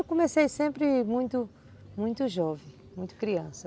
Eu comecei sempre muito muito jovem, muito criança.